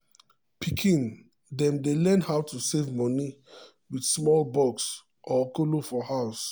pikin dem dey learn how to save moni with small box or kolo for house.